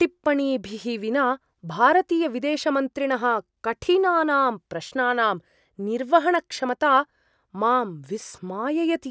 टिप्पणीभिः विना भारतीयविदेशमन्त्रिणः कठिनानां प्रश्नानां निर्वहणक्षमता मां विस्माययति।